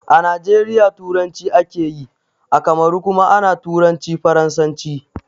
A najeriya turanci akeyi, a kamaru kuma ana turanci faransanci